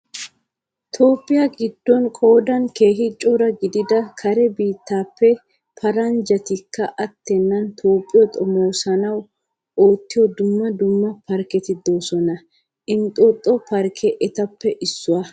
Toophphiya giddon qoodan keehi cora gidida kare biittaappe paranjjatikka attennan toophphiyo xomoosanaadan oottiya dumma dumma parkketi de'oosona. Inxxooxo parkkee etappe issuwa.